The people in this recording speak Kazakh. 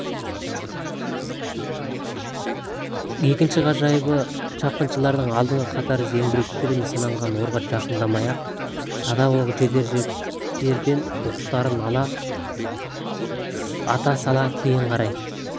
екінші ғажабы шапқыншылардың алдыңғы қатары зеңбіректер нысаналанған орға жақындамай садақ оғы жетер жерден оқтарын ата сала кейін қарай